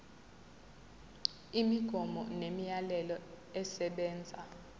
imigomo nemiyalelo esebenza